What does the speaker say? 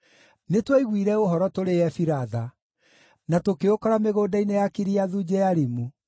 Nĩtwaiguire ũhoro tũrĩ Efiratha, na tũkĩũkora mĩgũnda-inĩ ya Kiriathu Jearimu.